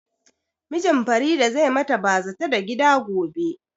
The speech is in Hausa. Mijin Farida zai ma ta bazata da gida gobe